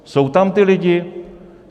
Jsou tam ti lidé?